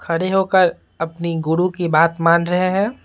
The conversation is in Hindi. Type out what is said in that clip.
खड़े होकर अपनी गुरु की बात मान रहे हैं।